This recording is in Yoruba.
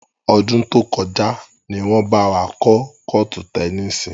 Ọdún tó kọjá ni wọn bá wa kọ́ kọ́ọ́tù tẹnísì.